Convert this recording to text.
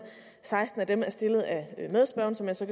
seksten af dem er stillet af medspørgeren som jeg så